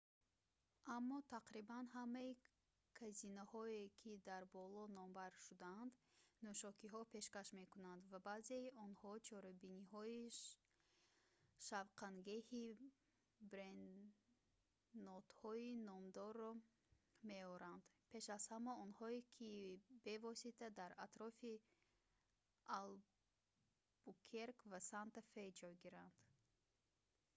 аммо тақрибан ҳамаи казиноҳое ки дар боло номбар шудаанд нӯшокиҳо пешкаш мекунанд ва баъзеи онҳо чорабиниҳои шавқангеҳи бренодҳои номдорро меоранд пеш аз ҳама онҳое ки бевосита дар атрофи албукерк ва санта фе ҷойгиранд